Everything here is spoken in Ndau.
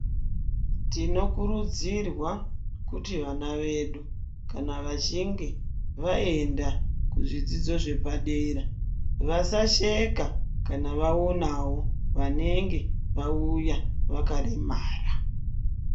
Tinokurudzirwa kuti vana vedu kana vachinge vaenda zvidzidzo zvepadera vasasheka kana vawonawo vanenge vauya vakaremara.